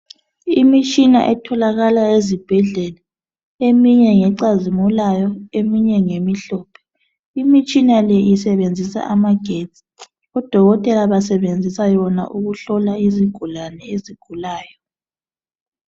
Imitshina etholakala ezibhedlela, eminye ngecazimulayo, eminye ngemhlophe. Imitshina le isebenzisa amagetsi. Odokotela basebenzisa yona ukuhlola izigulane ezigulayo.